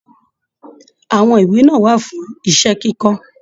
Àwọn ìwé wà fún iṣẹ kikọ.